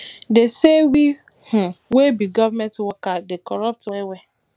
dem sey we um wey be government workers dey corrupt wellwell